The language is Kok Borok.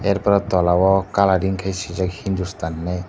er pore tolao colouring khai swijak hindustan hinwi.